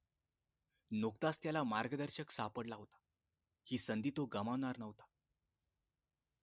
नुकताच त्याला मार्गदर्शक सापडला होता हि संधी तो गमावणार न्हवता